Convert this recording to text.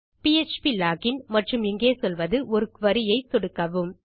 PHP login மற்றும் இங்கே சொல்வது ஒரு குரி ஐ கொடுக்கவும்